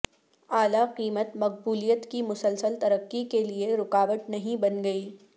اعلی قیمت مقبولیت کی مسلسل ترقی کے لئے رکاوٹ نہیں بن گئی